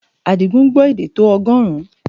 Àdìgún gbọ́ èdè tó ọgọ́rùn-ún